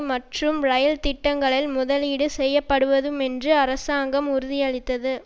மற்றும் ரயில் திட்டங்களில் முதலீடு செய்யப்படவுதும்மென்றும் அரசாங்கம் உறுதியளித்தது